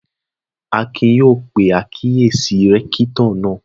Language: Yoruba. Akin yóò pe àkíyèsí rẹ́kítọ̀ náà